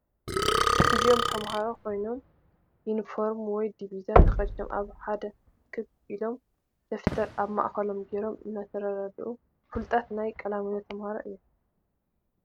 አዞም ተማሃሩ ኮይኖም ይንፈርሚ ወይ ዲብዛ ተከዲኖም አብ ሓደ እክብ ኢሎም ደፊተር አብ ማእከሎም ገይሮም እንትራዳድኡ ፊሉጣት ናይ ቃላ ሚኖ ተማሃሩ እዮም።